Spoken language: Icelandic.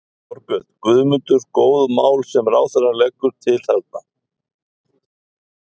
Þorbjörn: Guðmundur, góð mál sem ráðherrann leggur til þarna?